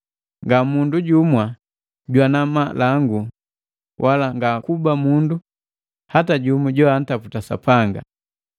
nga mundu jumwa jwana malangu wala ngakuba mundu hata jumu joantaputa Sapanga.